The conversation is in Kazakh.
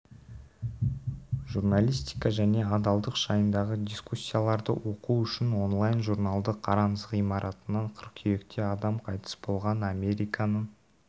журналистика және адалдық жайындағы дискуссияларды оқу үшін онлайн журналды қараңыз ғимаратынан қыркүйекте адам қайтыс болған американың